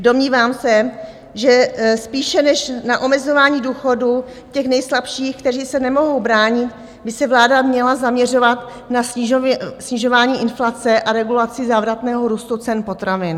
Domnívám se, že spíše než na omezování důchodů těch nejslabších, kteří se nemohou bránit, by se vláda měla zaměřovat na snižování inflace a regulaci závratného růstu cen potravin.